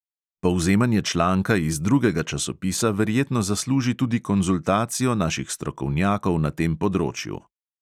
Povzemanje članka iz drugega časopisa verjetno zasluži tudi konzultacijo naših strokovnjakov na tem področju.